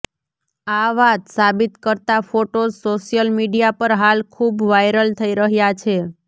આ વાત સાબિત કરતા ફોટોઝ સોશ્યલ મીડિયા પર હાલ ખૂબ વાયરલ થઇ રહ્યાં છે